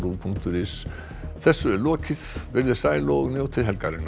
punktur is þessu er lokið veriði sæl og njótið helgarinnar